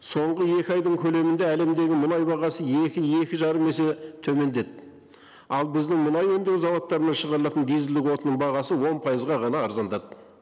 соңғы екі айдың көлемінде әлемдегі мұнай бағасы екі екі жарым есе төмендеді ал біздің мұнай өндеу зауыттарынан шығарылатын дизельдік отынның бағасы он пайызға ғана арзандады